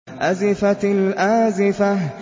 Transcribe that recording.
أَزِفَتِ الْآزِفَةُ